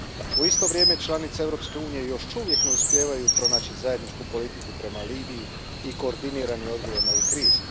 U isto vrijeme, članice Europske unije još uvijek ne uspijevaju pronaći zajedničku politiku prema Libiji i koordinirani odgovor na ovu krizu.